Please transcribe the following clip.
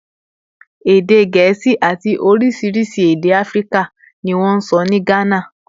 Èdè Gẹ̀ẹ́sì àti oríṣiríṣi èdè Áfíríkà ni wọ́n ń sọ ní Gánà